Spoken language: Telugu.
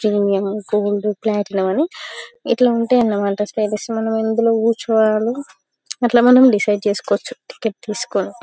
ప్రీమియం గోల్డ్ ప్లాటియం అని ఇట్లా ఉంటాయి అన్న మాట స్పేస్ మనం ఇందిలో క్రుచోవాలి అట్లా మనం డిసైడ్ చేసికోవచ్చు టిక్కెట్ తీసికొని.